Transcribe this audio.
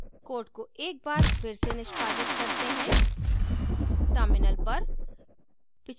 code को एक बार फिर से निष्पादित करते हैं terminal पर